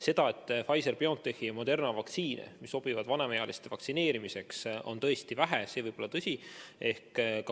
See, et Pfizer‑BioNTechi ja Moderna vaktsiine, mis sobivad vanemaealiste vaktsineerimiseks, on vähe, võib olla tõsi.